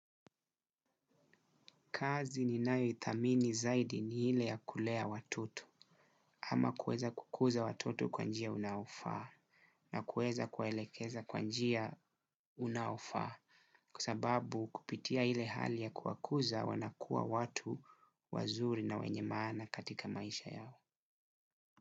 Kazi ninayo itamini zaidi ni hile ya kulea watoto ama kueza kukuza watoto kwa njia unaofaa na kueza kuelekeza kwa njia unaofaa kua sababu kupitia hile hali ya kuwakuza wanakua watu wazuri na wenye maana katika maisha yao.